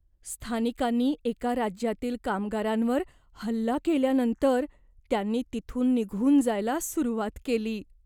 स्थानिकांनी एका राज्यातील कामगारांवर हल्ला केल्यानंतर त्यांनी तिथून निघून जायला सुरुवात केली.